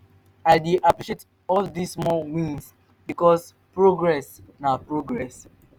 i dey appreciate all di small wins bikos progress na progress